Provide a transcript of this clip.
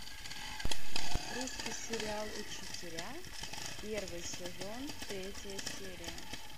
русский сериал учителя первый сезон третья серия